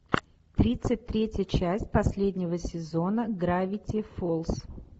тридцать третья часть последнего сезона гравити фолз